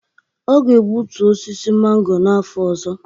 Ọ ga-egbutu osisi mango n'afọ ọzọ